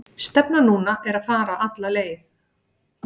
Stefnan núna er að fara alla leið.